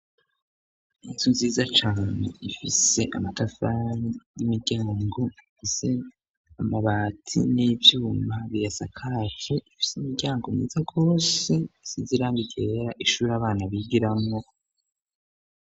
Inzu nziza cane ifise amatafari n'imiryango ifise amabati n'ivyuma biyasakaje, ifise imiryango myiza gose isize irangi ryera, ishure abana bigiramwo.